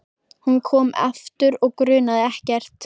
Hún kom aftur og grunaði ekkert.